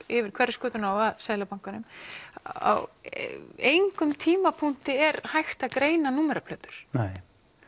yfir Hverfisgötuna og að Seðlabankanum á engum tímapunkti er hægt að greina númeraplötu nei